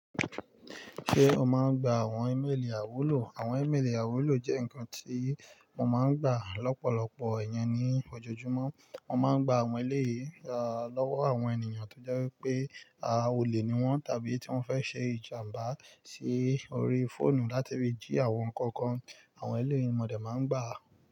Ṣé o máa ń gba àwọn ímélì àiwúlò? Àwọn ímélì àwúlò jẹ́ ǹkan tí wọ́n máa ń gbà lọ́pọ̀lọpọ̀ iyen ní ọjọ júmọ̀. Wọ́n máa ń gbà àwọn eléyìí lọ́wọ́ àwọn ènìyàn tó jẹ́ wípé a olè ni wọ́n tàbí tí wọ́n fẹ́ ṣe ìjàmbá sí orí fóònù láti fi jí àwọn ǹkan kan. Àwọn eléyii ni mọ̀ dẹ́ máa ń gbà.